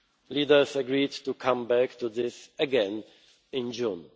Leaders agreed to come back to this again in